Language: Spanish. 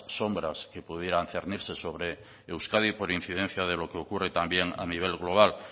sombras que pudieran cernirse sobre euskadi por incidencia de lo que ocurre también a nivel global